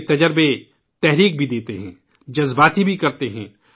ان کے تجربات ، تحریک بھی دیتے ہیں اور جذباتی بھی بناتے ہیں